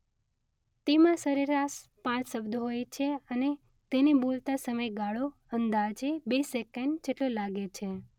તેમાં સરેરાશ પાંચ શબ્દો હોય છે અને તેને બોલતા સમયગાળો અંદાજે બે સેકન્ડ જેટલો લાગે છે